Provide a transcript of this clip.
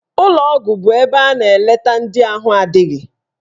Ụlọgwụ bụ ebe a na-eleta ndị ahụ adịghị.